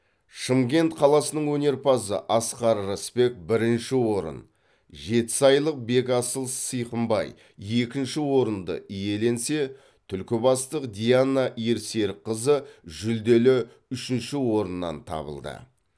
шымкент қаласының өнерпазы асқар рысбек бірінші орын жетісайлық бекасыл сыйқымбай екінші орынды иеленсе түлкібастық диана ерсерікқызы жүлделі үшінші орыннан табылды